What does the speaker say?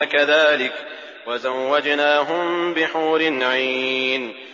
كَذَٰلِكَ وَزَوَّجْنَاهُم بِحُورٍ عِينٍ